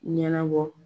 Ɲɛnabɔ